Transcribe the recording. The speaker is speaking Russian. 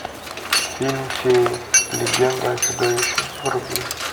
фильм феи легенда о чудовище вруби